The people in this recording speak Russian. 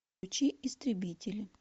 включи истребители